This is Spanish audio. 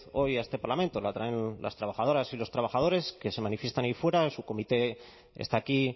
hoy a este parlamento la traen las trabajadoras y los trabajadores que se manifiestan ahí fuera o su comité está aquí